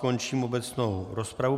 Končím obecnou rozpravu.